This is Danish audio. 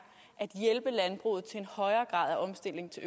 at hjælpe landbruget til en højere grad af omstilling til